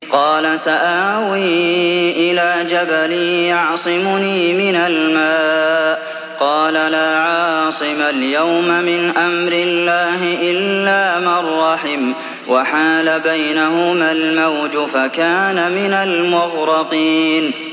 قَالَ سَآوِي إِلَىٰ جَبَلٍ يَعْصِمُنِي مِنَ الْمَاءِ ۚ قَالَ لَا عَاصِمَ الْيَوْمَ مِنْ أَمْرِ اللَّهِ إِلَّا مَن رَّحِمَ ۚ وَحَالَ بَيْنَهُمَا الْمَوْجُ فَكَانَ مِنَ الْمُغْرَقِينَ